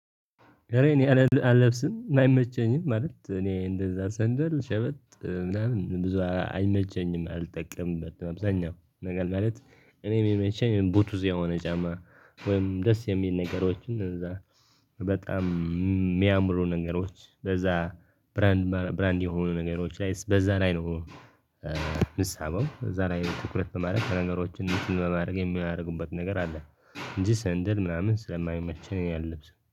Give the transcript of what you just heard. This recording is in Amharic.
እኔ አለብስም አይመቸኝም ማለት እኔ እንደዛ ሰንደል ሸበጥ ምናምን ብዙ አይመቸኝም አልጠቀምበትም አብዛኛው ነገር ማለት። እኔ የሚመቸኝ ቡቱዝ የሆነ ጫማ ወይም ደስ የሚል ነገሮችን እንደዛ። በጣም የሚያምሩ ነገሮች በዛ ብራንድ የሆኑ ነገሮች ላይ በዛ ላይ ነው። የምሳበው እዛ ላይ ትኩረት በማድረግ ነገሮችን እንትን በማድረግ የሚያደርጉበት ነገር አለ። እንጂ ሰንደል ምናምን ስለማይመቸኝ ያለብስ